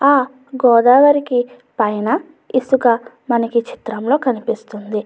ఆ గోదావరికి పైన ఇసుక మనకి ఈ చిత్రంలో కనిపిస్తుంది.